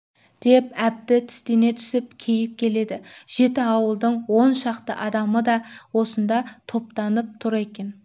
деп әбді тістене түсіп кейіп келеді жеті ауылдың он шақты адамы да осында топтанып түр екен